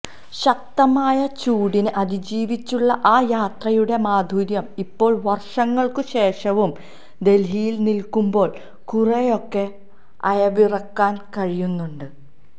ശക്തമായ ചൂടിനെ അതിജീവിച്ചുള്ള ആ യാത്രയുടെ മാധുര്യം ഇപ്പോള് വര്ഷങ്ങള്ക്കു ശേഷവും ദല്ഹിയില് നില്ക്കുമ്പോള് കുറേയൊക്കെ അയവിറക്കാന് കഴിയുന്നുണ്ട്